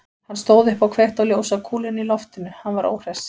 Hann stóð upp og kveikti á ljósakúlunni í loftinu, hann var óhress.